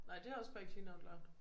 Nej det er også bare i clean out loud